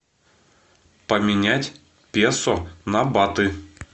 поменять песо на баты